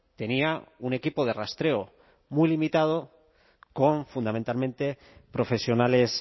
tenía un equipo de rastreo muy limitado con fundamentalmente profesionales